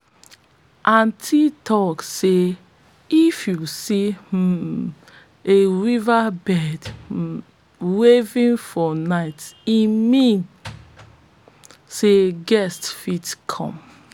aunties talk say if you see um a weaverbird weaving for night e mean sey guest fit come